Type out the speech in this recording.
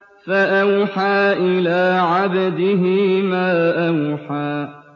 فَأَوْحَىٰ إِلَىٰ عَبْدِهِ مَا أَوْحَىٰ